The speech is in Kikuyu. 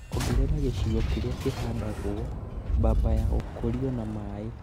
Ongerea gĩcigo kĩrĩa kĩhandagwo mbamba ya gũkũrio na maĩ